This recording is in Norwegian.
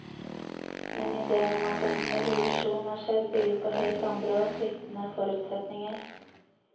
Men idéen om at en evolusjon er skjedd, bygger på helt andre og sviktende forutsetninger.